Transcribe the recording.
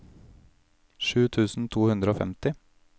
sju tusen to hundre og femti